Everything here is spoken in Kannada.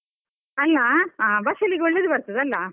ಅಲ್ಲಾ, ಹಾ ಬಸಳೆಗೆ ಒಳ್ಳೇದು ಬರ್ತದೆ ಅಲಾ.